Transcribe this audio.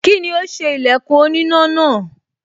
Kíni ó ṣe ilẹ̀kùn oníná náà?